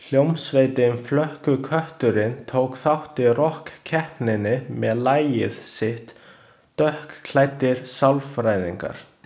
Hljómsveitin Flökkukötturinn tók þátt í rokkkeppninni með lagið sitt „Dökkklæddir sálfræðingar“.